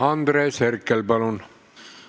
Andres Herkel, palun!